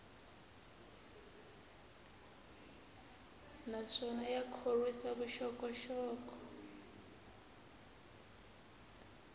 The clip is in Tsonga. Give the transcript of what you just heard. naswona ya khorwisa vuxokoxoko